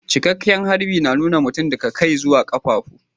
Cikeken harbi na nuna mutum daga kai zuwa kafafu.